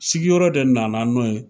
Sigiyɔrɔ de nana n'o ye